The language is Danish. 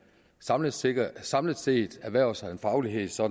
samlet set samlet set erhverver sig en faglighed så